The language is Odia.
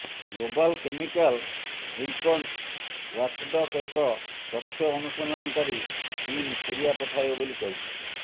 ଗ୍ଲୋବାଲ କେମିକାଲ୍ ଓ୍ୱିପନ୍ସ ଓ୍ୱାଚଡଗ୍ ଏକ ତଥ୍ୟ ଅନୁସନ୍ଧାନକାରୀ ଟିମ୍ ସିରିୟା ପଠାଇବ ବୋଲି କହିଛି